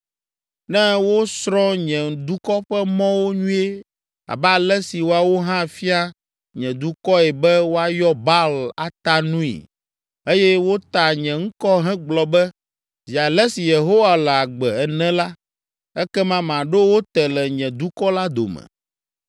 Ne wosrɔ̃ nye dukɔ ƒe mɔwo nyuie abe ale si woawo hã fia nye dukɔe be woayɔ Baal ata nui, eye wota nye ŋkɔ hegblɔ be, ‘Zi ale si Yehowa le agbe’ ene la, ekema maɖo wo te le nye dukɔ la dome.